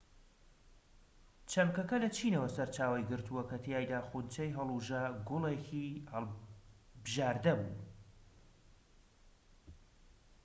چەمکەکە لە چینەوە سەرچاوەی گرتووە کە تیایدا خونچەی هەڵووژە گوڵێکی بژاردە بوون